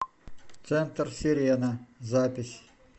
центр сирена запись